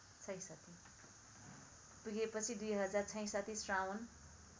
पुगेपछि २०६६ श्रावण